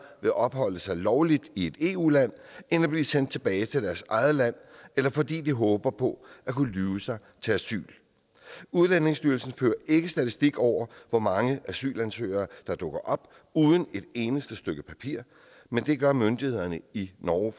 vil opholde sig lovligt i et eu land end at blive sendt tilbage til deres eget land eller fordi de håber på at kunne lyve sig til asyl udlændingestyrelsen fører ikke statistik over hvor mange asylansøgere der dukker op uden et eneste stykke papir men det gør myndighederne i norge